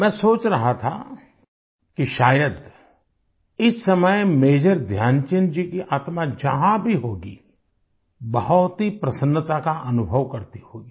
मैं सोच रहा था कि शायद इस समय मेजर ध्यानचंद जी की आत्मा जहां भी होगी बहुत ही प्रसन्नता का अनुभव करती होगी